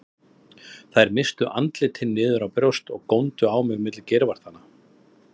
Þær misstu andlitin niður á brjóst og góndu á mig milli geirvartanna.